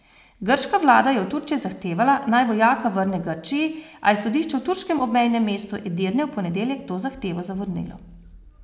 Grška vlada je od Turčije zahtevala, naj vojaka vrne Grčiji, a je sodišče v turškem obmejnem mestu Edirne v ponedeljek to zahtevo zavrnilo.